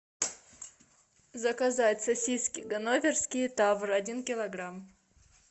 заказать сосиски ганноверские тавр один килограмм